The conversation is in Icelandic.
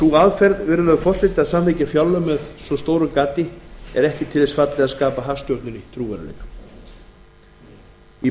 sú aðferð að samþykkja fjárlög með þessu stóra gati er ekki til þess fallin að skapa hagstjórninni trúverðugleika í